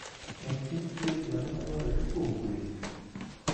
En kit thieth mane madwarore kuom gwen?